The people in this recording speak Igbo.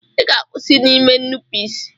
Ị ga-akwụsị n'ime nnupụisi!